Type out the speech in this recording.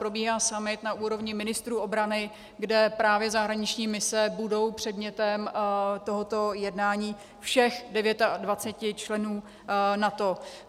probíhá summit na úrovni ministrů obrany, kde právě zahraniční mise budou předmětem tohoto jednání všech 29 členů NATO.